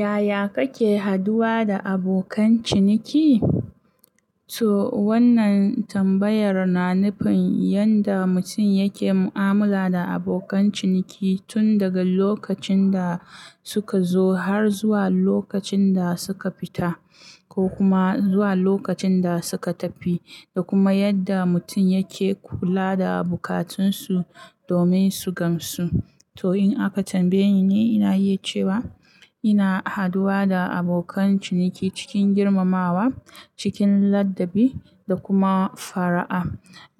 Yaya kake haduwa da abokan ciniki? To wannan tambayar na nufin yadda mutum yake mu'amala da abokan ciniki tun daga lokacin da sukanzo har zuwa lokacinda suka fita ko kuma zuwa lokacin da suka tafi da kuma yadda mutum yake kula da bukatunsu domin su gamsu. To in aka tambaye ni, ina iya cewa ina haduwa da abokan ciniki cikin girmamawa, cikin ladabi da kuma fara'a.